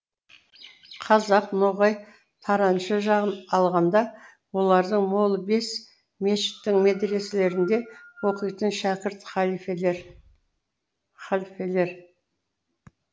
қазақ ноғай тараншы жағын алғанда олардың молы бес мешіттің медреселерінде оқитын шәкірт халфелер халфелер